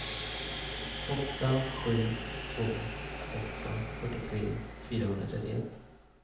åtta sju två åtta fyrtiotre fyrahundratrettioett